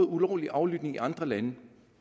ulovlig aflytning i andre lande